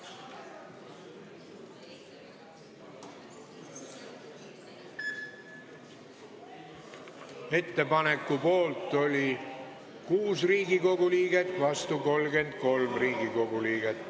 Hääletustulemused Ettepaneku poolt oli 6 Riigikogu liiget, vastu 33.